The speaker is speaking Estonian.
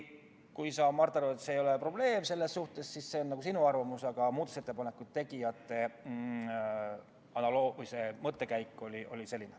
Kui sa, Mart, arvad, et see ei ole probleem, siis see on sinu arvamus, aga muudatusettepaneku tegijate mõttekäik oli selline.